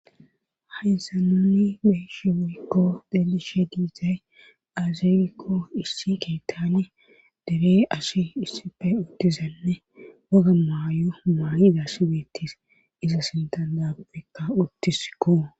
haysa nuni be'ishin woykko dhelishe diizay azelikko issi keetani deree asi issife udtizanne waga maayo maayi gassibeettis iza sinta daabekka uttisko.